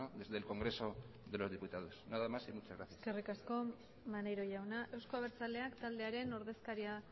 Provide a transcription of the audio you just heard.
desde el congreso de los diputados nada más y muchas gracias eskerrik asko maneiro jauna euzko abertzaleak taldearen ordezkaria